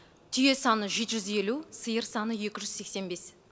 түйе саны жеті жүз елу сиыр саны екі жүз сексен бес